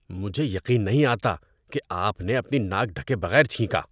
مجھے یقین نہیں آتا کہ آپ نے اپنی ناک ڈھکے بغیر چھینکا۔